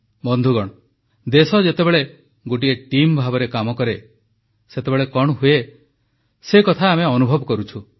ବନ୍ଧୁଗଣ ଦେଶ ଯେତେବେଳେ ଗୋଟିଏ ଟିମ୍ ଭାବେ କାମ କରେ ସେତେବେଳେ କଣ ହୁଏ ସେକଥା ଆମେ ଅନୁଭବ କରୁଛୁ